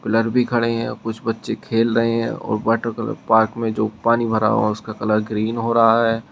Pillar भी खड़े हैं आ कुछ बच्चे खेल रहे हैं और वाटर पार्क में जो पानी भरा हुआ है उसका कलर ग्रीन हो रहा है।